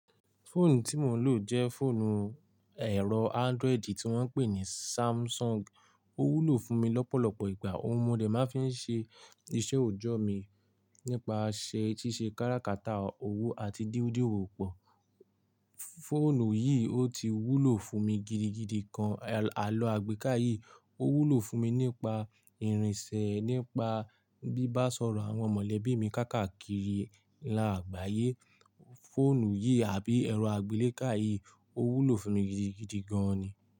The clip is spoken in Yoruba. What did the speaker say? Fóònù tí mò ń lò jẹ́ fóònù ẹ̀rọ Android tí wọ́n ń pè ní Samsung. Ó wúlò fún mi lọ́pọ̀lọpọ̀ ìgbà. Ohun mòdè máa ń fi ṣe iṣẹ́ òòjọ́ mi nípasẹ̀ ṣíṣe káràkátà owó àti dídúró pọ̀. Fóònù yìí ó ti wúlò fún mi gidigidi gan. Àló àgbéká yìí ó wúlò fún mi nípa ìrìnsẹ̀, nípa bíbá sọ̀rọ̀ àwọn mọ̀lẹ́bí mi káàkiri ìlú àgbáyé. Fóònù yìí àbí ẹ̀rọ àgbeleka yìí ó wúlò fún mi gidigidi gan ni.